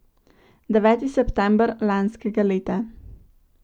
Deveti september lanskega leta!